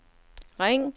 ring